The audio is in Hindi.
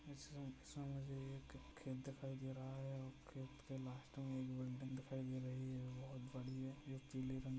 इस दृश्य मे मुझे एक खेत दिखाई दे रहा है और खेत के लास्ट में एक बिल्डिंग दिखाई दे रही है बहुत बड़ी है जो पीले रंग--